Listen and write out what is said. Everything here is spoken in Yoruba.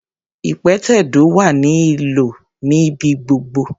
Ìpẹ̀tẹ̀do wá ní ìlò níbi gbogbo.